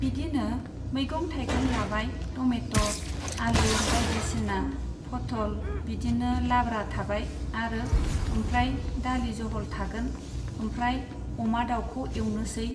बिदिनो मैगं थाइगं लाबाय टमेट', आलु, बायदिसिना फथ'ल बिदिनो लाब्रा थाबाय आरो ओमफ्राय दालि जहल थागोन, ओमफ्राय अमा दाउखौ एवनोसै।